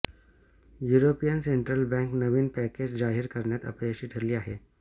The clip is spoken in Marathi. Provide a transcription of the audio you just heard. युरोपियन सेंट्रल बॅँक नवीन पॅकेज जाहीर करण्यात अपयशी ठरली आहे